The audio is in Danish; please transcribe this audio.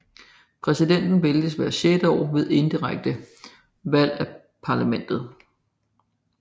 Præsidenten vælges hvert sjette år ved indirekte valg af parlamentet